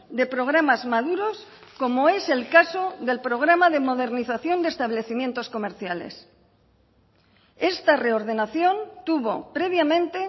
de programas maduros como es el caso del programa de modernización de establecimientos comerciales esta reordenación tuvo previamente